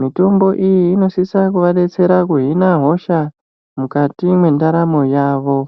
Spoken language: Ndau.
mitombo iyi inosisa kuva detsera kuhina hosha mukati mwendaramo yavo.